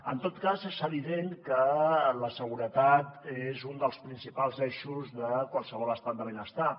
en tot cas és evident que la seguretat és un dels principals eixos de qualsevol estat de benestar